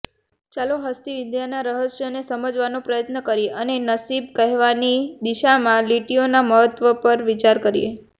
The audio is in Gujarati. ચાલો હસ્તિવિદ્યાના રહસ્યોને સમજવાનો પ્રયત્ન કરીએ અને નસીબ કહેવાની દિશામાં લીટીઓના મહત્વ પર વિચાર કરીએ